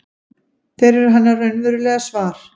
Þeir eru hennar raunverulega svar.